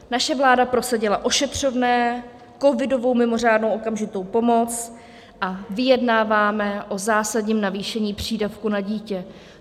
Naše vláda prosadila ošetřovné, covidovou mimořádnou okamžitou pomoc a vyjednáváme o zásadním navýšení přídavku na dítě.